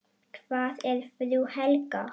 Hvar er frú Helga?